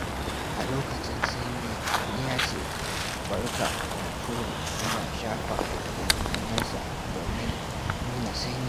A lokacin sanyi, wani ya ce, "Barka da hunturu" yana shafa tafin hannunsa domin nuna sanyi.